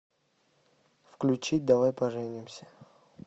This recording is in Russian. включи давай поженимся